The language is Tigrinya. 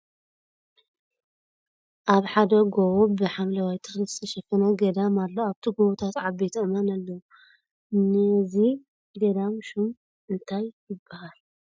ኣብ ሓደ ጎቦ ብ ሓምለዋይ ተክሊ ዝተሸፈነ ገዳም ኣሎ ። ኣብቲ ጎቦታት ዓበይቲ ኣእማን ኣለዉ ። ንይዚ ገዳም ሹም እንታይ ይብሃል ።